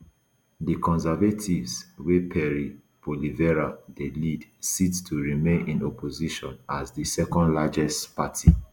di conservatives wey pierre poilievre lead dey set to remain in opposition as di secondlargest party